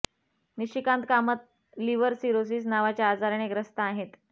Nishikant Kamat liver cirrhosis नावाच्या आजाराने ग्रस्त आहेत